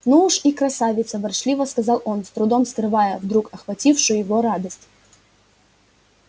ну уж и красавица ворчливо сказал он с трудом скрывая вдруг охватившую его радость